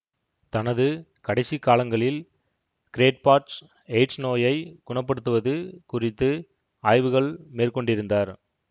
தனது கடைசி காலங்களில் கிரேட்பாட்ச் எயிட்ஸ் நோயை குணப்படுத்துவது குறித்து ஆய்வுகள் மேற்கொண்டிருந்தார்